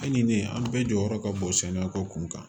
Ali ni ne an bɛɛ jɔyɔrɔ ka bon sɛnɛko kun kan